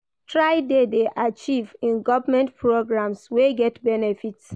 Try de dey active in government programs wey get benefits